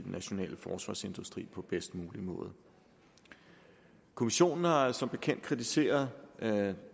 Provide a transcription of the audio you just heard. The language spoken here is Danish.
nationale forsvarsindustri på bedst mulig måde kommissionen har som bekendt kritiseret